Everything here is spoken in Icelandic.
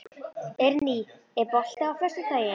Eirný, er bolti á föstudaginn?